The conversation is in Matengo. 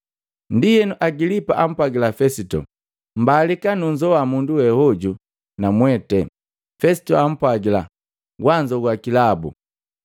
Ndienu Agilipa ampwagila Fesito, “Mbalika nunzoa mundu we hoju namwete.” Fesito ampwagila, “Wanzoa kilabu.”